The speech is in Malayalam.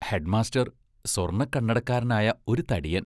ഹെഡ്മാസ്റ്റർ സ്വർണക്കണ്ണടക്കാരനായ ഒരു തടിയൻ.